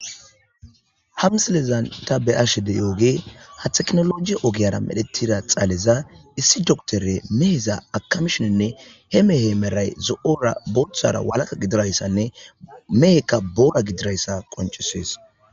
hamsilezan ta beashe de yooge ha teknologi ogiyara medhetida xaaleza issi doktore meheza akamshoenne he mehe meray zo7ora boothara walaka gidirayssanne mehekka boora gidirayssa qoncesees